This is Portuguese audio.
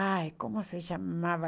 Ai, como se chamava?